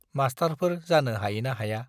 मास्टारफोर जानो हायोना हाया।